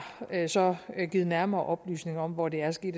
har så givet nærmere oplysninger om hvor det er sket